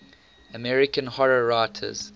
american horror writers